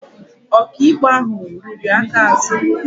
Ọkaikpe ahụ riri aka azụ